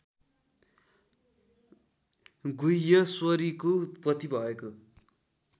गुह्यश्वरीको उत्पत्ति भएको